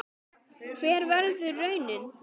Hver verður raunin?